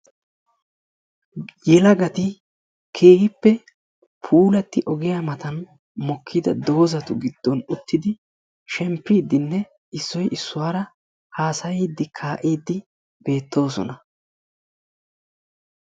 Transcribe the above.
Yelagati keehippe puulaati ogiya matan mokkida dozatu giddon uttidi shemmppidinne issoy issuwara haasayiddi kaa'iddi beettoosona.